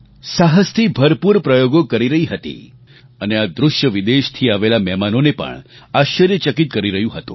સાહસથી ભરપૂર પ્રયોગો કરી રહી હતી અને આ દૃશ્ય વિદેશથી આવેલા મહેમાનોને પણ આશ્ચર્યચકિત કરી રહ્યું હતું